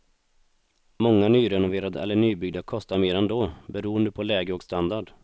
Många nyrenoverade eller nybyggda kostar mer ändå, beroende på läge och standard.